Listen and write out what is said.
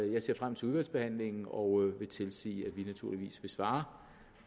jeg ser frem til udvalgsbehandlingen og vil tilsige at vi naturligvis vil svare